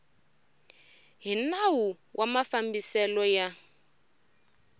hi nawu wa mafambiselo ya